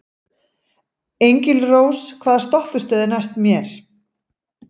Engilrós, hvaða stoppistöð er næst mér?